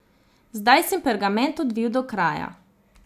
Zdaj sem pergament odvil do kraja.